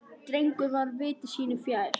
Drengur var viti sínu fjær.